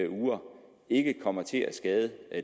uger ikke kommer til at skade